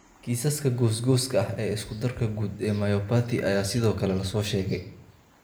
Kiisaska goosgooska ah ee isku-darka guud ee myopathy ayaa sidoo kale la soo sheegay.